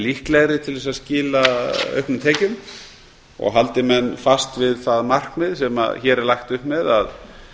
líklegri til að skila auknum tekjum og haldi menn fast við það markmið sem hér er lagt upp með að